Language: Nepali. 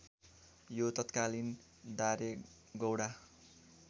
यो तात्कालीन दारेगौंडा